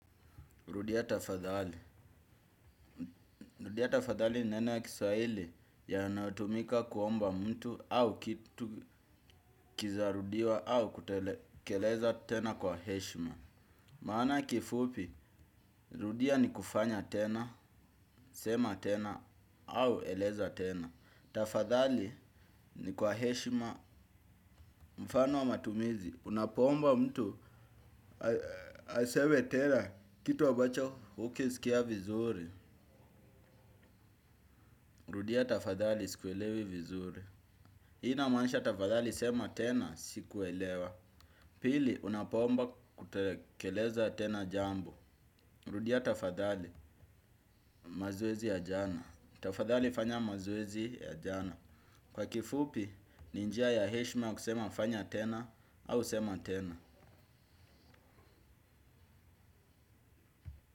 Rudia tafadhali. Rudia tafadhali neno ya kiswahili ya natumika kuomba mtu au kitu kizarudiwa au kutekeleza tena kwa heshima. Maana kifupi, rudia ni kufanya tena, sema tena au eleza tena. Tafadhali ni kwa heshima mfano wa matumizi. Unapo omba mtu aseme tena kitu ambacho hukisikia vizuri. Rudia tafadhali sikuelewi vizuri. Ina maanisha tafadhali sema tena siku elewa. Pili unapoomba kutakeleza tena jambo rudia tafadhali mazoezi ya jana. Tafadhali fanya mazoezi ya jana. Kwa kifupi ninjia ya heshma kusema fanya tena au sema tena.